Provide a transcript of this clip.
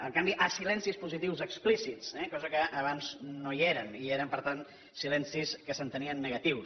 el canvi a silencis positius explícits eh cosa que abans no hi era i eren per tant silencis que s’entenien negatius